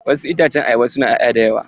Wasu itacen ayaba ba sua 'ya'ya da yawa.